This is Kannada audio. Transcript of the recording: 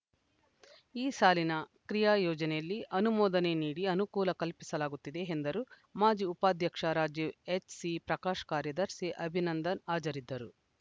ಈ ಸಾಲಿನ ಕ್ರಿಯಾ ಯೋಜನೆಯಲ್ಲಿ ಅನುಮೋದನೆ ನೀಡಿ ಅನುಕೂಲ ಕಲ್ಪಿಸಲಾಗುತ್ತದೆ ಎಂದರು ಮಾಜಿ ಉಪಾಧ್ಯಕ್ಷ ರಾಜೀವ್‌ ಎಚ್‌ಸಿ ಪ್ರಕಾಶ್‌ ಕಾರ್ಯದರ್ಶಿ ಅಭಿನಂದನ್‌ ಹಾಜರಿದ್ದರು